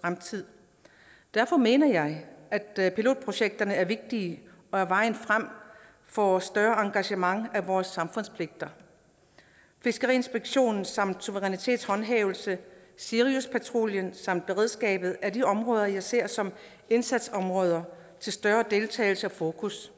fremtid derfor mener jeg at pilotprojekterne er vigtige og vejen frem for et større engagement i vores samfundspligter fiskeriinspektion samt suverænitetshåndhævelse siriuspatruljen samt beredskabet er de områder jeg ser som indsatsområder til større deltagelse og fokus